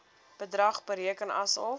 bedrag bereken asof